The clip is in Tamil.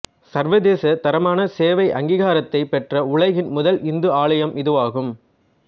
சர்வதேச தரமான சேவை அங்கீகாரத்தைப் பெற்ற உலகின் முதல் இந்து ஆலயம் இதுவாகும்